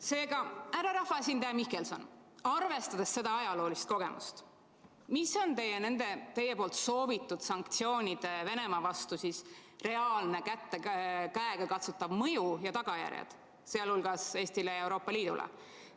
Seega, härra rahvaesindaja Mihkelson, arvestades seda ajaloolist kogemust, mis on nende teie soovitud Venemaa-vastaste sanktsioonide reaalne, käegakatsutav mõju ja tagajärjed, sealhulgas Eestile ja Euroopa Liidule?